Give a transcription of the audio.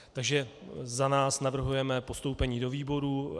Takže za nás navrhujeme postoupení do výborů.